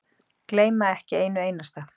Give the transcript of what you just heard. Gleyma ekki einu einasta.